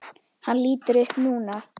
Hann lítur upp núna.